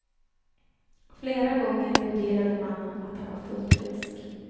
Flera gånger bedyrade mannen att han var fullt frisk.